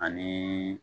Ani